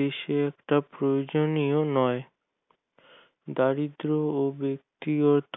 দেশে একটা প্রয়োজনীয় নয় দারিদ্র ও ব্যাক্তিগত